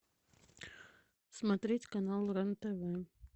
смотреть канал рен тв